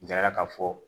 N taara ka fɔ